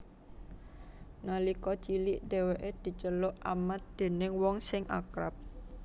Nalika cilik dhèwèké diceluk Amat déning wong sing akrab